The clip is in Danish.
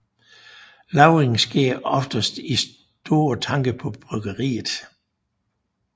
Lagringen sker oftest i store tanke på bryggeriet